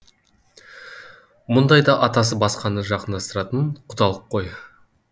мұндайда атасы басқаны жақындастыратын құдалық қой